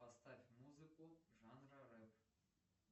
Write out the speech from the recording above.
поставь музыку жанра рэп